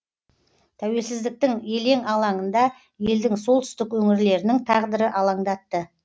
тәуелсіздіктің елең алаңында елдің солтүстік өңірлерінің тағдыры алаңдатты